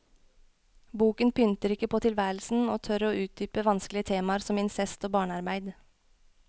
Boken pynter ikke på tilværelsen, og tør å utdype vanskelige temaer som incest og barnearbeid.